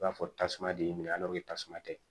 I b'a fɔ tasuma de y'i minɛ tasuma tɛ